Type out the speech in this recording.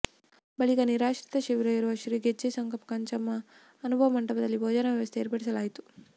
ಬಳಿಕ ನಿರಾಶ್ರಿತ ಶಿಬಿರ ಇರುವ ಶ್ರೀ ಗೆಜ್ಜೆ ಸಂಗಪ್ಪ ಕಂಚಮ್ಮ ಅನುಭವ ಮಂಟಪದಲ್ಲಿ ಭೋಜನಾ ವ್ಯವಸ್ಥೆ ಏರ್ಪಡಿಸಲಾಯಿತು